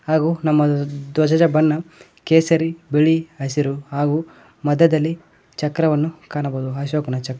ಹಾಗು ನಮ್ಮ ಧ್ವಜದ ಬಣ್ಣ ಕೇಸರಿ ಬಿಳಿ ಹಸಿರು ಹಾಗು ಮಧ್ಯದಲ್ಲಿ ಚಕ್ರವನ್ನು ಕಾಣಬಹುದು ಅಶೋಕನ ಚಕ್ --